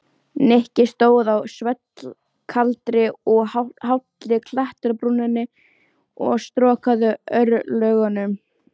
Nikki stóð á svellkaldri og hálli klettabrúninni og storkaði örlögunum.